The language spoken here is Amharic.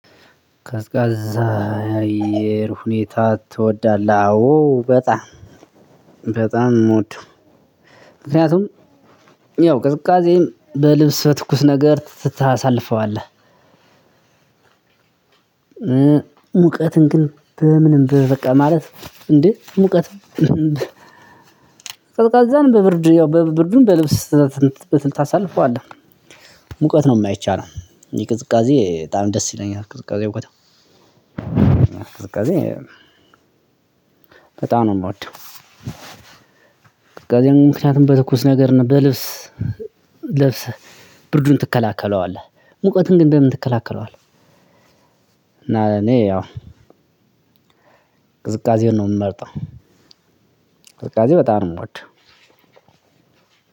ቀዝቃዛ አየር ሁኔታ ትወዳለህ? አዎ በጣም በጣም ምወደው ምክንያቱም ያው ቅዝቃዜም በልብስ በትኩስ ነገር ታሳልፈዋለህ። ሙቀትን ግን በምንም በቃ ማለት እንዴ ሙቀት ቀዝቃዛን በብርድ ያው በብርዱን በልብስ ስትል ትልቅ ታሳልፈዋለህ ሙቀት ነው የማይቻለው የቅዝቃዜ በጣም ደስ ይለኛል። ቅዝቃዜ እውቀት ቅዝቃዜ በጣም ነው የምወደው። ከዚያም ምክንያቱም በትኩስ ነገር ነው በልብስ ልብስ ብርዱን ትከላከለዋለህ ሙቀትን ግን በምን ትከለከለዋለህ። እና እኔ ያው ቅዝቃዜን ነው የምንመርጠው። ቅዝቃዜ በጣም ነው ምወደው።